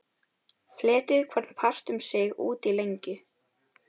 Fletjið hvorn part um sig út í lengju.